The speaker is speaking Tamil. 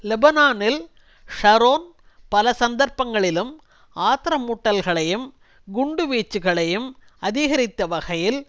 லெபனானில் ஷரோன் பலசந்தர்ப்பங்களிலும் ஆத்திரமூட்டல்களையும் குண்டுவீச்சுக்களையும் அதிகரித்த வகையில்